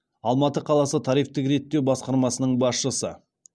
алматы қаласы тарифтік реттеу басқармасының басшысы